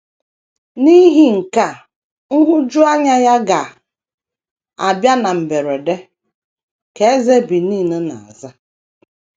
“ N’ihi nke a nhụjuanya ya ga - abịa na mberede, ” ka eze Benin na - aza.